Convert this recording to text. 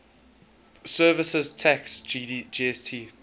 services tax gst